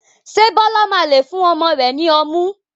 Ṣé Bọlá máa lé fún ọmọ rẹ ni ọmú?